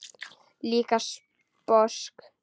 Líka sposk.